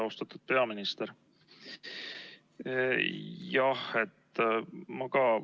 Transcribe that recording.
Austatud peaminister!